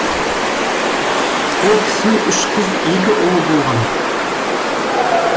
ол кісінің үш қыз екі ұлы болған